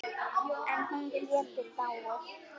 En hún getur dáið